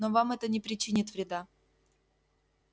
но вам это не причинит вреда